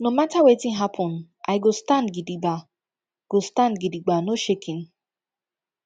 no mata wetin happen i go stand gidigba go stand gidigba no shaking